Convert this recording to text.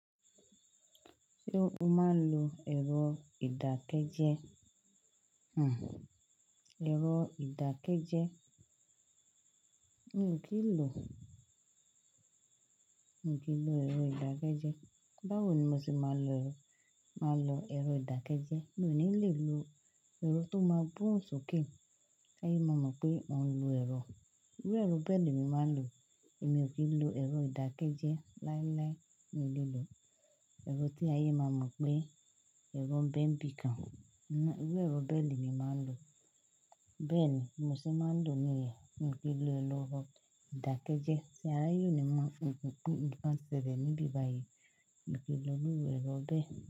Ṣé o máa ń lo èrò ìdákẹ́jẹ? Hmh. Ẹ̀rọ ìdákẹ́jẹ́. Mi ò kí ń lo, mi ò kí ń lo ẹ̀rọ ìdákẹ́jẹ́. Báwo ni mo ṣe máa lo, máa lo ẹ̀rọ ìdákẹ́jẹ́? Mi ò ní lè lo ẹ̀rọ tó máa gbohun sókè, kí ayé má mọ̀ pé mò ń lo ẹ̀rọ. Ewé ẹ̀rọ bẹ́ẹ̀ ni mi máa ń lò. Èmi ò kí ń lo ẹ̀rọ ìdákẹ́jẹ́. Láíláí, mi ò lè lo ẹ̀rọ tí ayé máa mọ̀ pé ẹ̀rọ ń bẹ́ ń bi kan. Irú ẹ̀rọ bẹ́ẹ̀ lè mí máa ń lò. Bẹ́ẹ̀ ni mo ṣe máa ń lò níyẹn. Mi ò kí ń lo ẹ̀rọ ìdákẹ́jẹ́. Ṣé ayé ni mo máa ń ṣe bẹ́ẹ̀ níbí báyìí? Mi ò kí ń lo irú ẹ̀rọ bẹ́ẹ̀